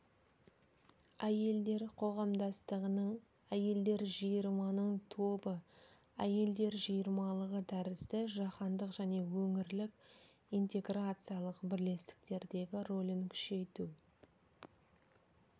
әйелдер қоғамдастығының әйелдер жиырманың тобы әйелдер жиырмалығы тәрізді жаһандық және өңірлік интеграциялық бірлестіктердегі рөлін күшейту